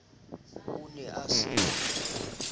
o ne a se na